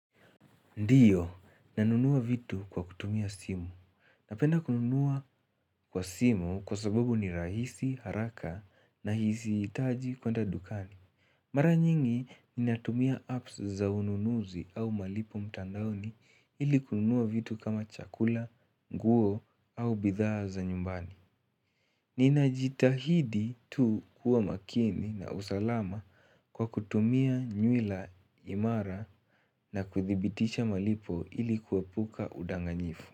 Ndiyo, nanunua vitu kwa kutumia simu. Napenda kununua kwa simu kwa sababu ni rahisi, haraka na sihitaji kwenda dukani. Mara nyingi, ninatumia apps za ununuzi au malipo mtandaoni ili kununua vitu kama chakula, nguo au bidhaa za nyumbani. Ninajitahidi tu kuwa makini na usalama kwa kutumia nywila imara na kuthibiticha malipo ili kuepuka udanganyifu.